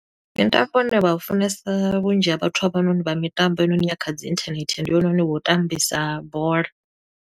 Mutambo une vha u funesa, vhunzhi ha vhathu havhanoni vha mitambo heinoni ya kha dzi inthanethe, ndi hoyunoni wa u tambisa bola.